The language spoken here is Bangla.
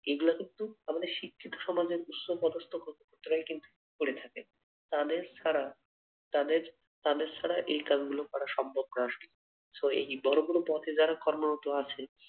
এগ্লা কিন্তু আমাদের শিক্ষিত সমাজের উচ্চপদস্থ কর্মকর্তারাই কিন্তু করে থাকে তাদের ছাড়া তাদের তাদের ছাড়া এ কাজ গুলো করা সম্ভব না আসলে so বড় কোনো পথে যারা কর্মরত আছে।